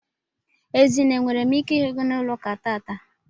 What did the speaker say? Ezinne enwere m ike ihu gi na ụlọaku tata?